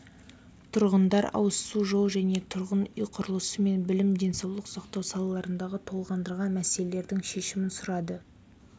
тұрғындар ауызсу жол және тұрғын үй құрылысы мен білім денсаулық сақтау салаларындағы толғандырған мәселердің шешімін сұрады